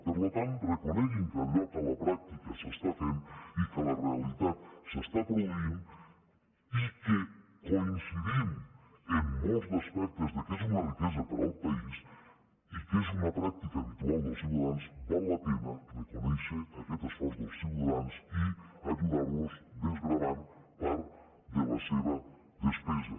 per tant reconeguin que allò que a la pràctica s’està fent i que a la realitat s’està produint i que coincidim en molts aspectes que és una riquesa per al país i que és una pràctica habitual dels ciutadans val la pena de reconèixer aquest esforç dels ciutadans i ajudar los desgravant part de la seva despesa